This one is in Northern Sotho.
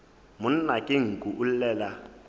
monna ke nku o llela